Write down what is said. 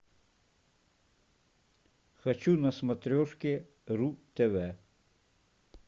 хочу на смотрешке ру тв